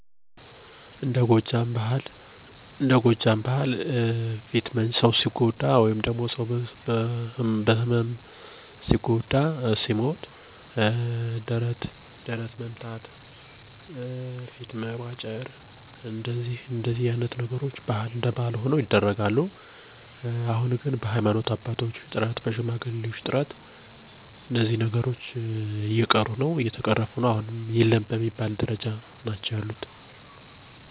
የተወሰኑ አሉ እነሱም የሞተውን በማስታወስ ፊት መንጨት፣ ደረት መድቃት።